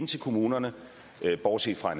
til kommunerne bortset fra